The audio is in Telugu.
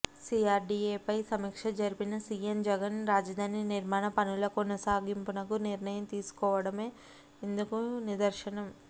సీఆర్డీఏపై సమీక్ష జరిపిన సీఎం జగన్ రాజధాని నిర్మాణ పనుల కొనసాగింపునకు నిర్ణయం తీసుకోవడమే అందుకు నిదర్శనం